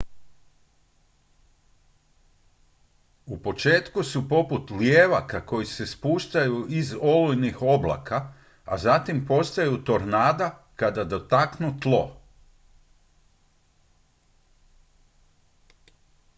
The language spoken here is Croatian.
u početku su poput lijevaka koji se spuštaju iz olujnih oblaka a zatim postaju tornada kad dotaknu tlo